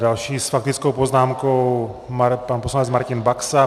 Další s faktickou poznámkou, pan poslanec Martin Baxa.